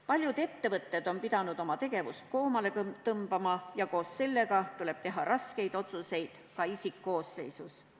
Paljud ettevõtted on pidanud oma tegevust koomale tõmbama ja koos sellega tuleb teha raskeid otsuseid ka isikkoosseisus.